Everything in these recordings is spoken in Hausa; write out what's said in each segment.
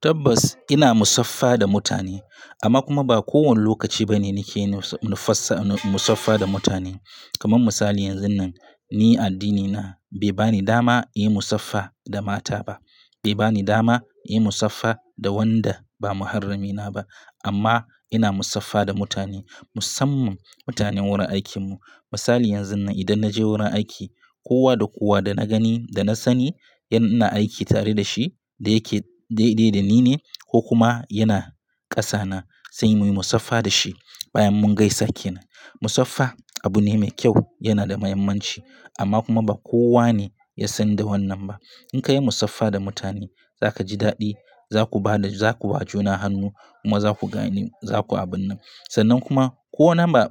Tabbas ina musaffa da mutane amma kuma ba kowane lokaci bane nake musaffa da mutane. Kamar misali yanzun nan ni addinina bai bani dama in yi musaffa da mata ba, bai bani dama in yi musaffa da wanda ba muharramina ba. Amma ina musaffa da mutane, musamman mutanen wurin aikinmu. Misali yanzun nan idan naje wurin aiki kowa da kowa da na gani da na sani yana aiki tare da shi da yake daidai da ni ne ko kuma yana ƙasa na sai muyi musaffa da shi bayan mun gaisa kenan. Musaffa abu ne mai kyau yana da muhimmanci amma kuma ba kowane ya san da wannan ba. In ka yi musaffa da mutane za ka ji daɗi, za ku ba da, za ku ba juna hannu kuma za ku gani za ku abun nan. Sannan kuma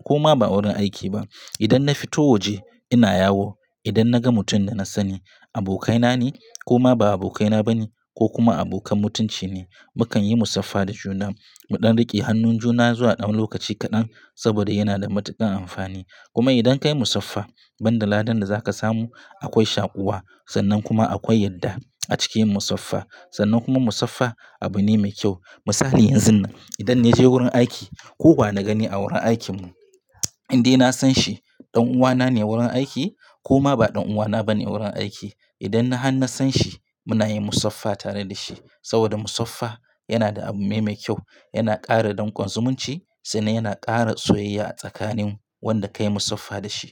koma ba wurin aiki ba. Idan na fito waje ina yawo idan naga mutum da na sani abokaina ne koma ba abokaina bane ko kuma abokan mutunci ne mukan yi musaffa da juna. Mu ɗan riƙe hannun juna zuwa ɗan lokaci kaɗan saboda yana da matuƙar amfani. Kuma idan ka yi musaffa, ban da ladan da za ka samu akwai shaƙuwa sannan kuma akwai yadda a cikin musaffa. Sannan kuma musaffa abu ne mai kyau. Misali yanzun nan idan na je wurin aiki kowa na gani a wurin aikinmu indai na san shi ɗan uwana ne wurin aiki koma ba ɗan uwana bane wurin aiki idan har na san shi muna yin musaffa tare da shi saboda musaffa yana da abu mai kyau, yana ƙara dakon zumunci sannan yana ƙara soyayya a tsakanin wanda ka yi musaffa da shi.